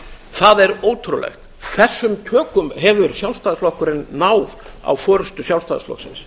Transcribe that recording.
það er ótrúlegt þessum tökum hefur sjálfstæðisflokkurinn náð á forustu sjálfstæðisflokksins